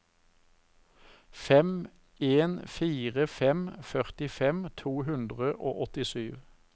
fem en fire fem førtifem to hundre og åttisju